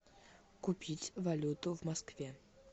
купить валюту в москве